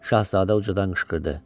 Şahzadə ucadan qışqırdı.